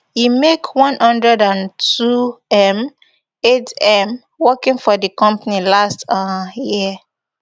e make one hundred and twom eightm working for di company last um year